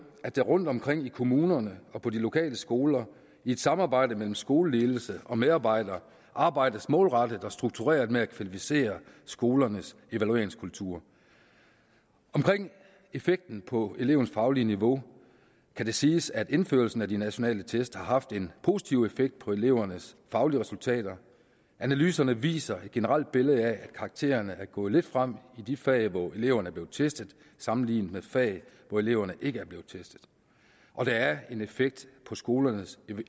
at der rundtomkring i kommunerne og på de lokale skoler i et samarbejde mellem skoleledelse og medarbejdere arbejdes målrettet og struktureret med at kvalificere skolernes evalueringskultur omkring effekten på elevens faglige niveau kan det siges at indførelsen af de nationale test har haft en positiv effekt på elevernes faglige resultater analyserne viser et generelt billede af at karaktererne er gået lidt frem i de fag hvor eleverne er blevet testet sammenlignet med fag hvor eleverne ikke er blevet testet og der er en effekt på skolernes